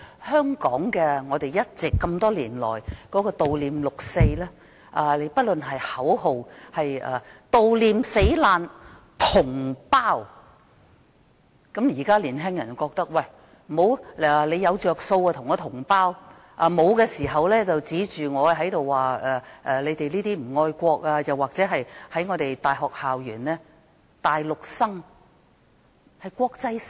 香港這麼多年來悼念六四，口號是悼念死難同胞，現在的年輕人覺得，有好處時便說大家是同胞，沒有好處時便被批評不愛國，或者在大學校園內，大陸生被視為國際生。